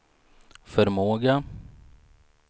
förmåga